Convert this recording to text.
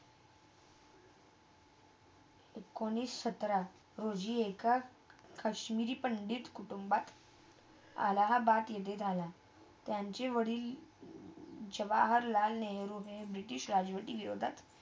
एकोणीस सतरा रोजी एका काश्मीरी पंडित कुटुंबात, अलाहबाद इते झाला त्यांचे वाडिल जवाहरलाल नेहरू ने ब्रिटिश राजवाती योधात